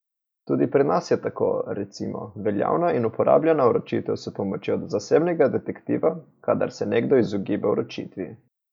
Tudi pri nas je tako, recimo, veljavna in uporabljana vročitev s pomočjo zasebnega detektiva, kadar se nekdo izogiba vročitvi ...